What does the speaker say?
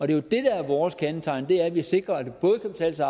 det der er vores kendetegn er jo at vi sikrer at det både kan betale sig